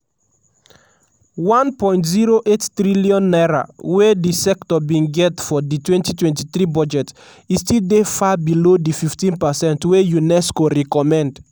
n1.08 trillion wey di sector bin get for di 2023 budget e still dey far below di 15 percent wey unesco recommend.